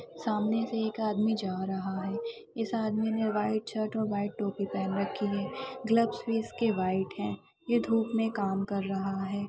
सामने एक आदमी जा रहा है इस आदमी ने वाइट शर्ट और टोपी पहरा है ग्लब्स वाइट है ये धुप में काम रहा हैं।